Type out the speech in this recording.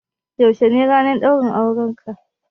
Yaushe ne ranar ɗaurin aurenka?